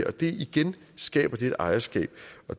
og igen skaber det et ejerskab